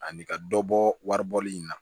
Ani ka dɔ bɔ wari bɔli in na